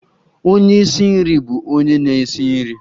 Onye isi nri bụ onye na-esi nri